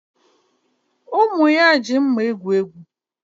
Ụmụ ya ji mma egwu egwuregwu